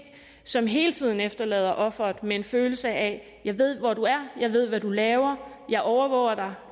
som hele tiden efterlader offeret med en følelse af at gerningsmanden jeg ved hvor du er jeg ved hvad du laver jeg overvåger